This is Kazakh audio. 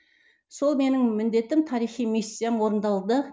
сол менің міндетім тарихи миссиям орындалды